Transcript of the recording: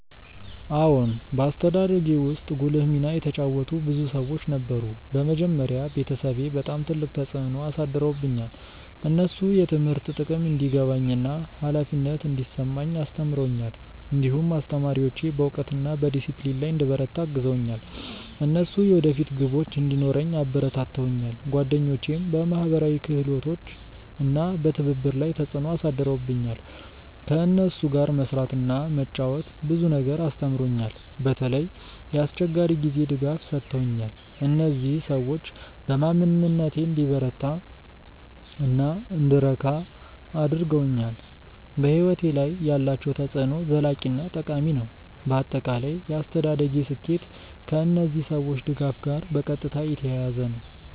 አዎን፣ በአስተዳደጌ ውስጥ ጉልህ ሚና የተጫወቱ ብዙ ሰዎች ነበሩ። በመጀመሪያ ቤተሰቤ በጣም ትልቅ ተፅዕኖ አሳድረውብኛል። እነሱ የትምህርት ጥቅም እንዲገባኝ እና ኃላፊነት እንዲሰማኝ አስተምረውኛል። እንዲሁም አስተማሪዎቼ በእውቀት እና በዲሲፕሊን ላይ እንድበረታ አግዘውኛል። እነሱ የወደፊት ግቦች እንዲኖረኝ አበረታተውኛል። ጓደኞቼም በማህበራዊ ክህሎት እና በትብብር ላይ ተፅዕኖ አሳድረውብኛል። ከእነሱ ጋር መስራት እና መጫወት ብዙ ነገር አስተምሮኛል። በተለይ የአስቸጋሪ ጊዜ ድጋፍ ሰጥተውኛል። እነዚህ ሰዎች በማንነቴን እንዲበረታ እና እንድረካ አድርገውኛል። በሕይወቴ ላይ ያላቸው ተፅዕኖ ዘላቂ እና ጠቃሚ ነው። በአጠቃላይ የአስተዳደጌ ስኬት ከእነዚህ ሰዎች ድጋፍ ጋር በቀጥታ የተያያዘ ነው።